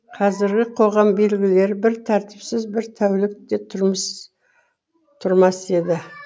қазіргі қоғам белгілі бір тәртіпсіз бір тәулік те тұрмас еді